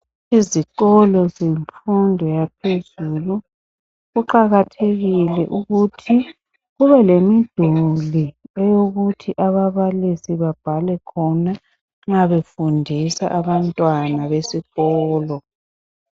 Izikolo zemfundo yaphezulu kuqakathekile ukuthi kube lemiduli eyokuthi ababalisi babhale khona nxa befundisa abantwana besikolo.